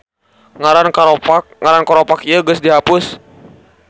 Ngaran koropak ieu geus di hapus.